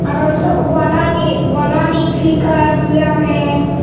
aro se wallani wallani green colour guri agey.